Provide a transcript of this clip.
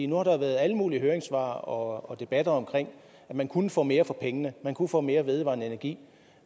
nu har der været alle mulige høringssvar og debatter om at man kunne få mere for pengene man kunne få mere vedvarende energi